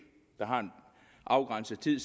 har en afgrænset tid